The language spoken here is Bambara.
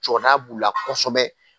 Jɔda b'u la kosɛbɛ